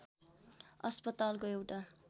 अस्पतालको एउटा